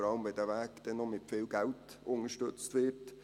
Vor allem, wenn der Weg auch noch mit viel Geld unterstützt wird.